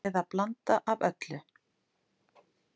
Eða blanda af öllu